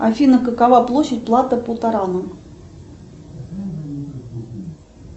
афина какова площадь плато потарано